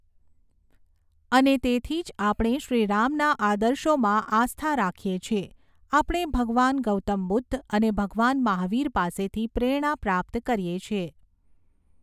અને તેથી જ આપણે શ્રીરામના આદર્શોમાં આસ્થા રાખીએ છીએ, આપણે ભગવાન ગૌતમ બુદ્ધ અને ભગવાન મહાવીર પાસેથી પ્રેરણા પ્રાપ્ત કરીએ છીએ.